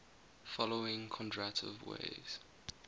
following kondratiev waves